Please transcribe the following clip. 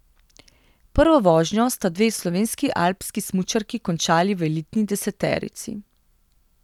Prvo vožnjo sta dve slovenski alpski smučarki končali v elitni deseterici.